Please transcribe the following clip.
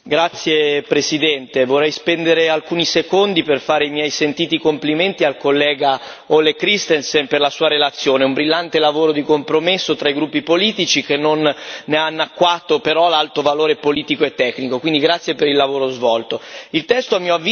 Signor Presidente, onorevoli colleghi, vorrei spendere alcuni secondi per esprimere i miei sentiti complimenti al collega Ole Christensen, per la sua relazione, un brillante lavoro di compromesso tra i gruppi politici, che non ne ha annacquato però l'alto valore politico e tecnico.